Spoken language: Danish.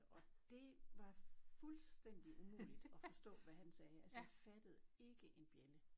Og dét var fuldstændig umuligt at forstå hvad han sagde altså jeg fattede ikke en bjælde